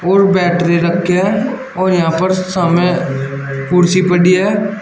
और बैटरी रखे है और यहां पर सामने कुर्सी पड़ी है।